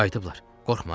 Qorxma Emmi.